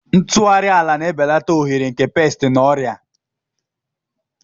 ntụgharị ala na-ebelata ohere nke pesti na ọrịa.